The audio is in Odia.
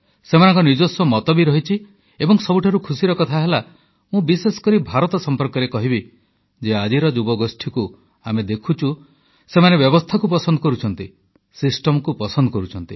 ସେମାନଙ୍କ ନିଜସ୍ୱ ମତ ବି ରହିଛି ଏବଂ ସବୁଠାରୁ ଖୁସିର କଥା ହେଲା ମୁଁ ବିଶେଷ କରି ଭାରତ ସମ୍ପର୍କରେ କହିବି ଯେ ଆଜିର ଯୁବଗୋଷ୍ଠୀକୁ ଆମେ ଦେଖୁଛୁ ସେମାନେ ବ୍ୟବସ୍ଥାକୁ ପସନ୍ଦ କରୁଛନ୍ତି ସିଷ୍ଟମ ପସନ୍ଦ କରୁଛନ୍ତି